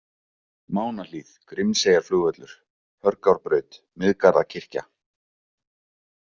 Mánahlíð, Grímseyjarflugvöllur, Hörgárbraut, Miðgarðakirkja